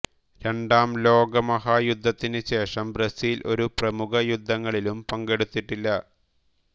രണ്ടാം ലോകമഹായുദ്ധത്തിന് ശേഷം ബ്രസീൽ ഒരു പ്രമുഖ യുദ്ധങ്ങളിലും പങ്കെടുത്തിട്ടില്ല